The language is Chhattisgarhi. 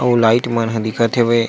अउ लाइट मन ह दिखत हवे --